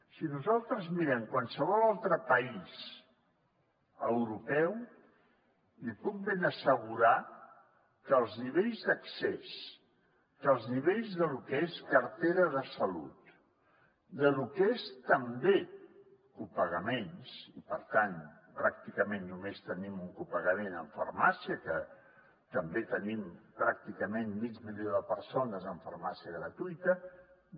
si nosaltres mirem qualsevol altre país europeu li puc ben assegurar que els nivells d’accés que els nivells de lo que és cartera de salut de lo que és també copagaments pràcticament només tenim un copagament en farmàcia que també tenim pràcticament mig milió de persones amb farmàcia gratuïta